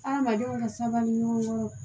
Hadamadenw ka sabali ɲɔgɔn